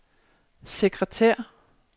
sekretær